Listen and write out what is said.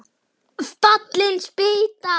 Fallin spýta!